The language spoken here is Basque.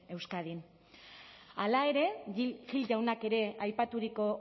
eskadin hala ere gil jaunak ere aipaturiko